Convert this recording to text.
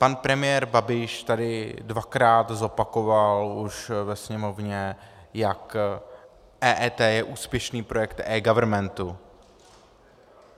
Pan premiér Babiš tady dvakrát zopakoval už ve Sněmovně, jak EET je úspěšný projekt eGovernmentu.